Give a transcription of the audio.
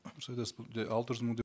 дұрыс айтасыз бұл алты жүз мың деп